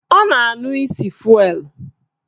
Ọ na-anụ isi fụelụ